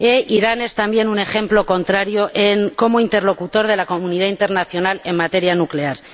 Irán es también un ejemplo en contrario como interlocutor de la comunidad internacional en materia nuclear.